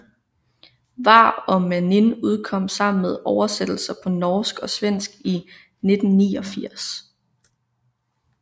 Vár og mánin udkom sammen med oversættelser på norsk og svensk i 1989